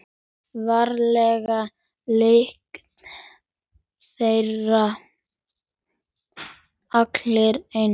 Varla lykta þeir allir eins.